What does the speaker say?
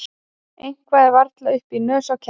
Eitthvað er varla upp í nös á ketti